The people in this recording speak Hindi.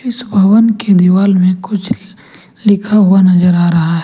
इस भवन के दीवाल में कुछ लिखा हुआ नजर आ रहा है।